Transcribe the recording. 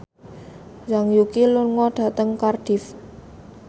Zhang Yuqi lunga dhateng Cardiff